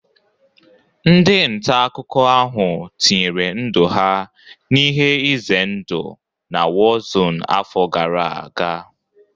Ndị nta akụkọ ahụ tinyere ndụ ha n'ihe ize ndụ na warzone afọ gara aga